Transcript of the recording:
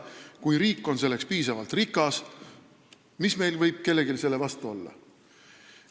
Kui riik on selleks piisavalt rikas, siis mis meil kellelgi võib selle vastu olla.